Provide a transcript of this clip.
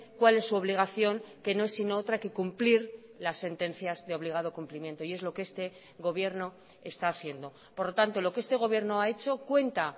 cuál es su obligación que no es sino otra que cumplir las sentencias de obligado cumplimiento y es lo que este gobierno está haciendo por lo tanto lo que este gobierno ha hecho cuenta